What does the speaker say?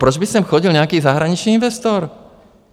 Proč by sem chodil nějaký zahraniční investor?